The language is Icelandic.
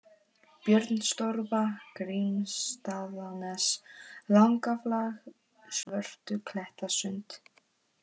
Björnstorfa, Grímsstaðanes, Langaflag, Svörtuklettasund